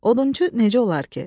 Odunçu necə olar ki?